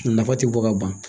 Nafa ti bɔ ka ban